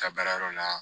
Ka baarayɔrɔ la